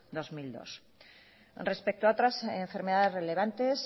dos mil dos respecto a otras enfermedades relevantes